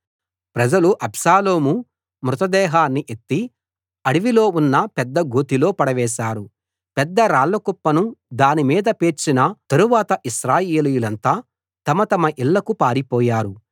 ప్రజలు అబ్షాలోము మృతదేహాన్ని ఎత్తి అడవిలో ఉన్న పెద్ద గోతిలో పడవేశారు పెద్ద రాళ్లకుప్పను దానిమీద పేర్చిన తరువాత ఇశ్రాయేలీయులంతా తమ తమ ఇళ్ళకు పారిపోయారు